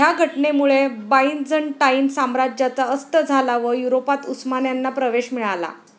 ह्या घटनेमुळे बायझंटाईन साम्राज्याचा अस्त झाला व युरोपात उस्मान्यांना प्रवेश मिळाला.